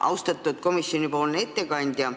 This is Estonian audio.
Austatud ettekandja!